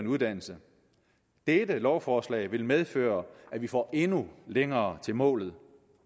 uddannelse dette lovforslag vil medføre at vi får endnu længere til målet